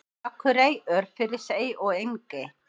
Akurey, Örfirisey og Engey.